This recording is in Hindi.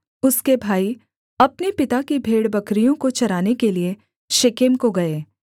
उसके भाई अपने पिता की भेड़बकरियों को चराने के लिये शेकेम को गए